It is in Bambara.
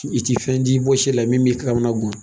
I ti fɛn d'i bɔsi la min b'i kamanagan